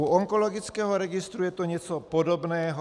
U onkologického registru je to něco podobného.